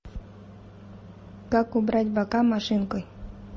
как убрать бока машинкой